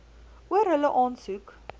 oor hulle aansoek